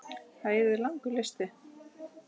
Það yrði langur listi.